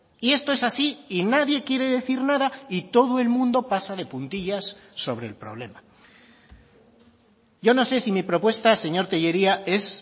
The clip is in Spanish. y esto es así y nadie quiere decir nada y todo el mundo pasa de puntillas sobre el problema yo no sé si mi propuesta señor tellería es